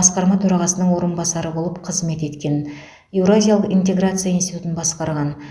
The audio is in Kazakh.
басқарма төрағасының орынбасары болып қызмет еткен еуразиялық интеграция институтын басқарған